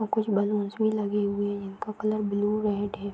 और कुछ बैलून्स भी लगे हुए हैं इनका कलर ब्लू रेड है।